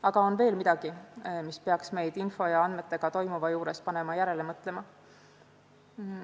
Aga on veel midagi, mis peaks meid panema info ja andmete vallas toimuva üle järele mõtlema.